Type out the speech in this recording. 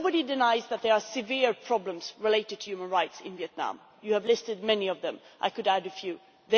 Nobody denies that there are severe problems relating to human rights in Vietnam. You have listed many of them, and I could add a few more.